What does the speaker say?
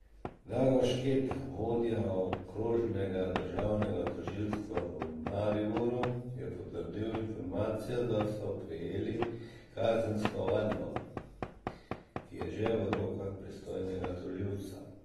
Drago Šketa, vodja okrožnega državnega tožilstva v Mariboru, je potrdil informacijo, da so prejeli kazensko ovadbo, ki je že v rokah pristojnega tožilca.